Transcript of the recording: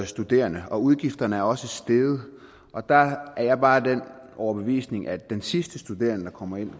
studerende og udgifterne er også steget og der er jeg bare af den overbevisning at den sidste studerende der kommer ind